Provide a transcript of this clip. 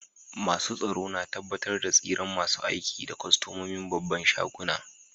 Masun tsaro na tabatar da tsiran masun aiki da kostomomin babban shagunan.